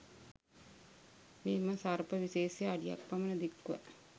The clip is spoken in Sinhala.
මෙම සර්ප විශේෂය අඩියක් පමණ දික්ව